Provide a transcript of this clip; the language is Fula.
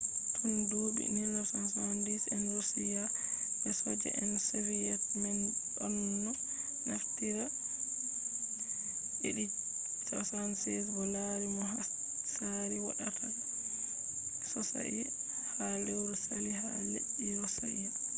tun duuɓi 1970 en roshiya be soja je soviyet man ɗonno naftira il-76 bo laari no hatsari woɗaka sosai ha lewru sali ha leddi roshiya